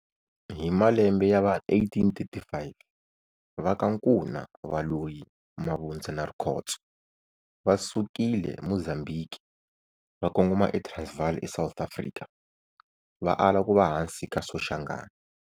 Hi malembe ya va 1835 va ka Nkuna, Valoyi, Mavundza na Rikhotso va sukile Mozambiki va kongoma eTransvaal eSouth Africa, va ala ku va hansi ka Soshangane.